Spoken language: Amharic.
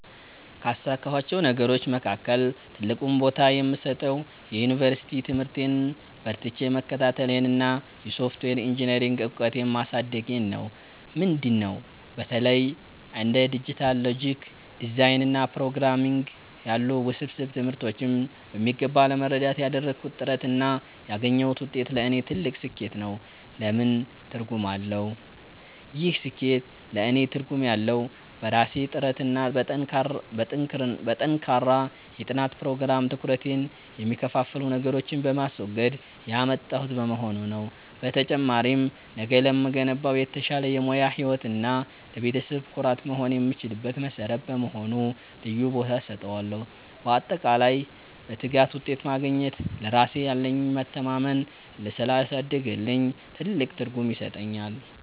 ካሳካኋቸው ነገሮች መካከል ትልቁን ቦታ የምሰጠው የዩኒቨርሲቲ ትምህርቴን በርትቼ መከታተሌንና የሶፍትዌር ኢንጂኔሪንግ እውቀቴን ማሳደጌን ነው። ምንድን ነው? በተለይ እንደ ዲጂታል ሎጂክ ዲዛይን እና ፕሮግራምንግ ያሉ ውስብስብ ትምህርቶችን በሚገባ ለመረዳት ያደረግኩት ጥረት እና ያገኘሁት ውጤት ለእኔ ትልቅ ስኬት ነው። ለምን ትርጉም አለው? ይህ ስኬት ለእኔ ትርጉም ያለው፣ በራሴ ጥረትና በጠንካራ የጥናት ፕሮግራም (ትኩረቴን የሚከፋፍሉ ነገሮችን በማስወገድ) ያመጣሁት በመሆኑ ነው። በተጨማሪም፣ ነገ ለምገነባው የተሻለ የሙያ ህይወት እና ለቤተሰቤ ኩራት መሆን የምችልበት መሠረት በመሆኑ ልዩ ቦታ እሰጠዋለሁ። ባጠቃላይ፣ በትጋት ውጤት ማግኘት ለራሴ ያለኝን መተማመን ስላሳደገልኝ ትልቅ ትርጉም ይሰጠኛል።